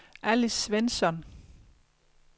Alice Svensson